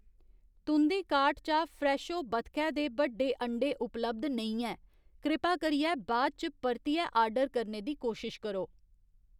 तुं'दी कार्ट चा फ्रैशो बतखै दे बड्डे अंडें उपलब्ध नेईं ऐ, कृपा करियै बाद इच परतियै आर्डर करने दी कोशश करो।